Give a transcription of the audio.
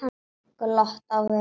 Glott á vörum hennar.